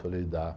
Falei, dá.